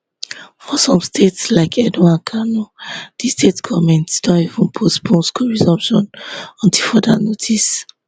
for some states like edo and kano di state goments don even postpone school resumption until further notice